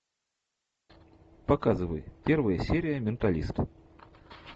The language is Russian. показывай первая серия менталист